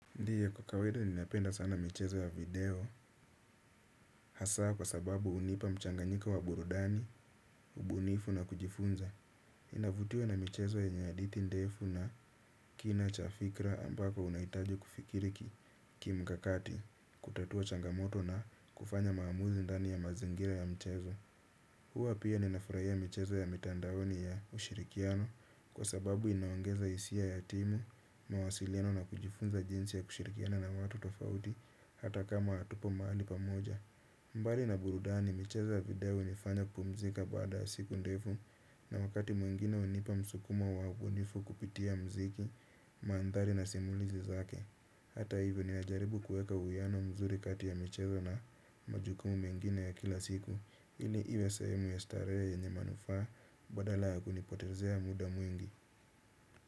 Ndiyo kwa kawaida ninapenda sana michezo ya video hasaa kwa sababu unipa mchanganyika wa burudani, ubunifu na kujifunza. Inavutio na michezo yenye hadithi ndefu na kina chafikra ambako unaitaji kufikiriki kimkakati kutatua changamoto na kufanya maamuzi ndani ya mazingira ya mchezo. Hua pia ninafurahia michezo ya mitandaoni ya ushirikiano kwa sababu inaongeza isia ya timu mawasiliano na kujifunza jinsi ya kushirikiana na watu tofauti hata kama atupo mahali pamoja. Mbali na burudani michezo ya video unifanya kupumzika baada siku ndefu na wakati mwengine unipa msukuma waubunifu kupitia mziki maandhari na simulizi zake. Hata hivyo ninajaribu kueka uiano mzuri kati ya michezo na majukumu mengine ya kila siku. Hili iwe sahemu ya starehe yenye manufaa badala yakunipotezea muda mwingi.